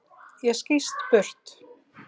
Ég skýst burt.